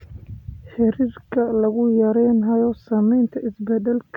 Heerarka lagu yaraynayo saamaynta isbeddelka cimiladu waa sarreeyaan.